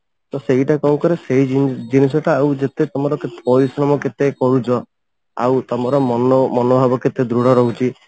ତ ସେଇଟା କଣ କରେ ସେଇ ଜିନିଷ ଟା ଆଉ ଯେତେ ତମର ପରିଶ୍ରମ କେତେ କରୁଛ ଆଉ ତମର ମନ ମନଭାବ କେତେ ଦୃଢ ରହୁଛି